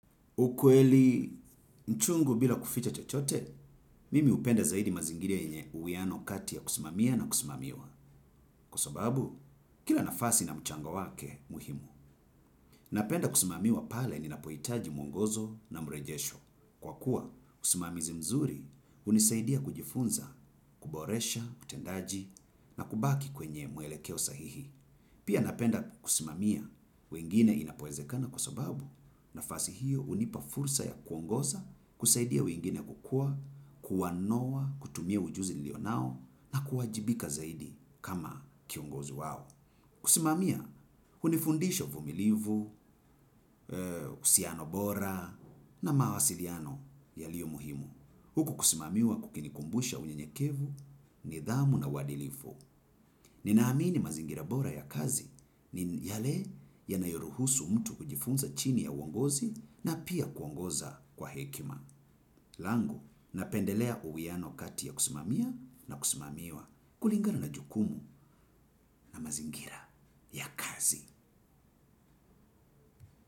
Ukweli mchungu bila kuficha chochote, mimi hupenda zaidi mazingira yenye uwiano kati ya kusimamia na kusimamiwa. Kwa sababu, kila nafasi ina mchango wake muhimu. Napenda kusimamiwa pale ninapohitaji mwongozo na mrejesho. Kwa kuwa, usimamizi mzuri hunisaidia kujifunza, kuboresha, utendaji na kubaki kwenye mwelekeo sahihi. Pia napenda kusimamia wengine inapowezekana kwa sababu nafasi hiyo hunipa fursa ya kuongoza kusaidia wengine kukua, kuwanoa, kutumia ujuzi nilionao na kuwajibika zaidi kama kiongozi wao. Kusimamia, hunifundisha uvumilivu, uhusiano bora na mawasiliano yaliyo muhimu. Huku kusimamiwa kukinikumbusha unyenyekevu nidhamu na uadilifu. Ninaamini mazingira bora ya kazi ni yale yanayoruhusu mtu kujifunza chini ya uongozi na pia kuongoza kwa hekima. Langu, napendelea uwiano kati ya kusimamia na kusimamiwa kulingana na jukumu na mazingira ya kazi.